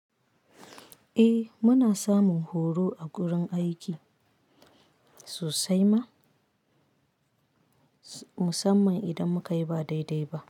Eh muna samun horo a gurin aiki, sosai ma, musamman idan muka yi ba dai-dai ba.